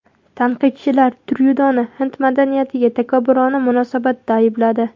Tanqidchilar Tryudoni hind madaniyatiga takabburona munosabatda aybladi.